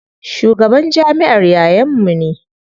Shugaban jamiʼar yayan mu ne.